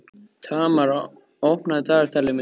Tamar, opnaðu dagatalið mitt.